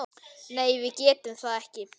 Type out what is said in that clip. Nei, við getum það ekki.